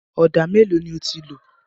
Ọ̀dà mélòó ni o ti lò?